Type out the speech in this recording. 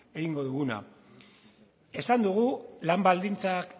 egingo duguna esan dugu lan baldintzak